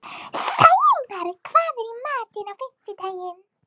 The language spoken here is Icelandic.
Sæmar, hvað er í matinn á fimmtudaginn?